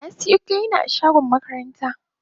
Na siyo kilina a shagon makaranta.